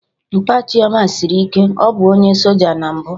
Mpa Chioma sịrị ike, ọ bụ onye soja na mbụ